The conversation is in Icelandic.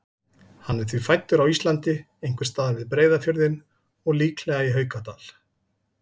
Hann er því fæddur á Íslandi, einhvers staðar við Breiðafjörðinn og líklega í Haukadal.